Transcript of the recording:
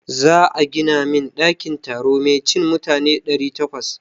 Za a gina min ɗakin taro mai cin mutane ɗari takwas.